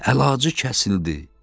Əlacı kəsildi.